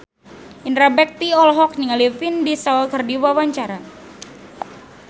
Indra Bekti olohok ningali Vin Diesel keur diwawancara